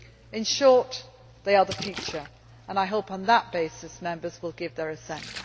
In short, they are the future and I hope, on that basis, Members will give their assent.